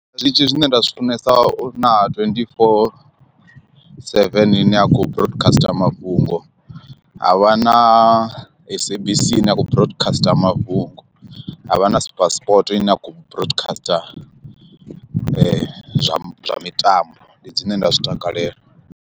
Zwiṱitshi zwine nda zwi funesa na twenty-four seven ine ya kho broadcasta mafhungo, ha vha na s_a_b_c ine ya khou broadcasta mafhungo ha vha na super sport ine ya khou broadcasta zwa zwa mitambo ndi dzine nda zwi takalela.